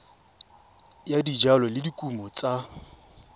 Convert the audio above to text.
ya dijalo le dikumo tsa